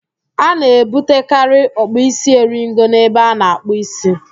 A na-ebutekari ọkpụisieringo n'ebe a na-akpụ ísí